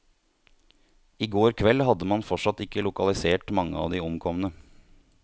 I går kveld hadde man fortsatt ikke lokalisert mange av de omkomne.